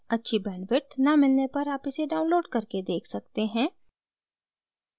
अच्छी bandwidth न मिलने पर आप इसे download करके देख सकते हैं